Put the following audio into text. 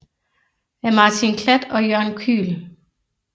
Af Martin Klatt og Jørgen Kühl